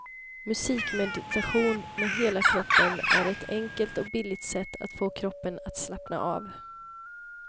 Musikmeditation med hela kroppen är ett enkelt och billigt sätt att få kroppen att slappna av.